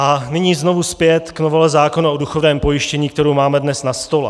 A nyní znovu zpět k novele zákona o důchodovém pojištění, kterou máme dnes na stole.